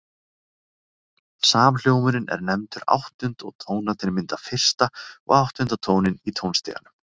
Samhljómurinn er nefndur áttund og tónarnir mynda fyrsta og áttunda tóninn í tónstiganum.